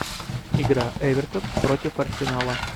игра эвертон против арсенала